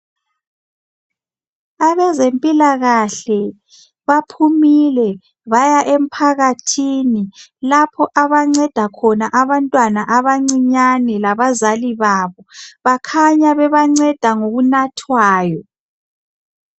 Abezimpilakahle baphumule baya emphakathini, lapho abanceda khona abantwana abancinyane labazali babo bakhanya bebanceda ngokunathwayo.